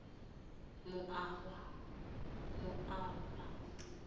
moaba